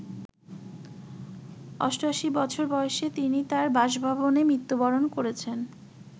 ৮৮ বছর বয়সে তিনি তাঁর বাসভবনে মৃত্যুবরণ করেছেন।